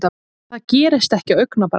Það gerist ekki á augabragði.